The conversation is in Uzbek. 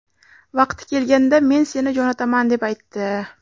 Vaqti kelganda men seni jo‘nataman deb aytdi.